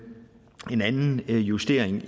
anden justering